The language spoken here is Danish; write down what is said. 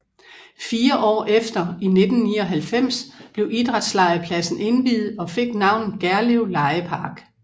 Fire år efter i 1999 blev idrætslegepladsen indviet og fik navnet Gerlev Legepark